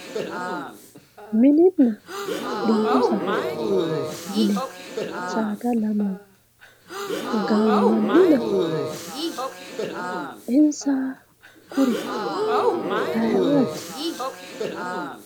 Minena dubuu saada yineemo saada lamewa gamanina insa kuri ayiooti?